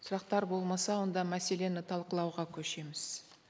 сұрақтар болмаса онда мәселені талқылауға көшеміз